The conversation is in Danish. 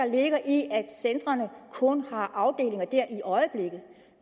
ligger i at centrene kun har afdelinger der i øjeblikket